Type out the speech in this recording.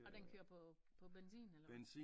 Og den kører på på benzin eller hva?